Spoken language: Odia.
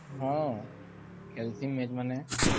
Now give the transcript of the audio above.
ହଁ ଖେଲସି ମୁଇଁ ମାନେ